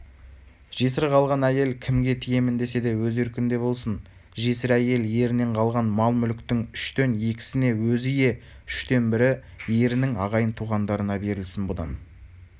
жесір қалған әйел кімге тиемін десе де өз еркінде болсын жесір әйел ерінен қалған мал-мүліктің үштен екісіне өзі ие үштен бірі ерінің ағайын-туғандарына берілсін бұдан